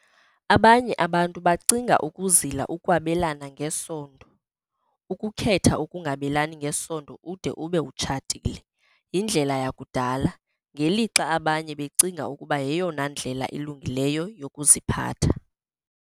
Abanye abantu bacinga ukuzila ukwabelana ngesondo, ukukhetha ukungabelani ngesondo ude ube utshatile, yindlela yakudala, ngelixa abanye becinga ukuba yeyona ndlela ilungileyo yokuziphatha.